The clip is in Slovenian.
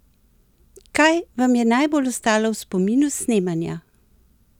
Kaj vam je najbolj ostalo v spominu s snemanja?